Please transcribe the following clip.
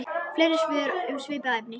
Fleiri svör um svipað efni